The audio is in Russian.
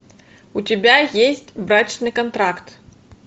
у тебя есть брачный контракт